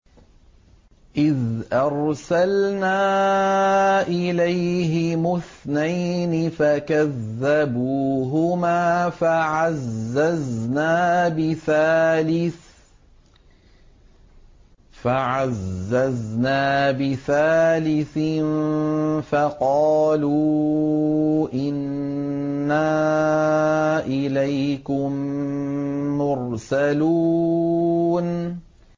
إِذْ أَرْسَلْنَا إِلَيْهِمُ اثْنَيْنِ فَكَذَّبُوهُمَا فَعَزَّزْنَا بِثَالِثٍ فَقَالُوا إِنَّا إِلَيْكُم مُّرْسَلُونَ